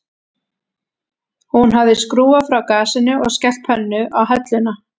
Hún hafði skrúfað frá gasinu og skellt pönnu á helluna